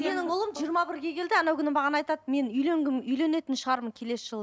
менің ұлым жиырма бірге келді анау күні маған айтады мен үйленгім үйленетін шығармын келесі жылы